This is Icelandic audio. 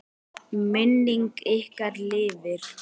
Minning ykkar lifir.